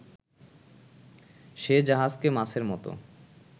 সে জাহাজকে মাছের মতো